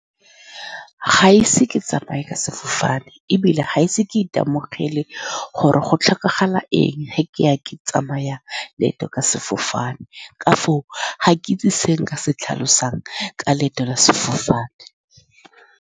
Ga ise ke tsamaye ka sefofane, ebile ga ise ke itemogele gore go tlhokagala eng fa ke ya ke tsamaya leeto ka sefofane. Ka foo, ga ke itse se nka se tlhalosang ka leeto la sefofane.